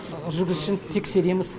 жүргізушіні тексереміз